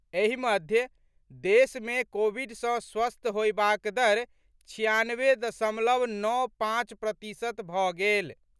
एहि मध्य देशमे कोविड सँ स्वस्थ होयबाक दर छिआनवे दशमलव नओ पाँच प्रतिशत भऽ गेल।